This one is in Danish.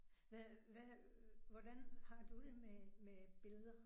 Hvad hvad hvordan har du det med med billeder?